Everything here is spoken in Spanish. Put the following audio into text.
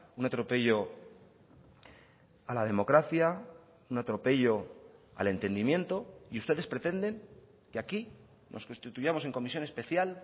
un atropello a la democracia un atropello al entendimiento y ustedes pretenden que aquí nos constituyamos en comisión especial